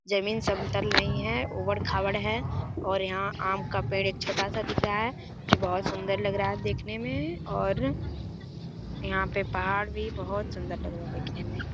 ज़मीन समतल नहीं है ऊबड़-खाबड़ है और यहां आम का पेड़ एक छोटा सा दिख रहा है जो बोहोत सुंदर लग रहा है देखने में और यहां पर पहाड़ भी बोहोत सुंदर लग रहा है देखने में ।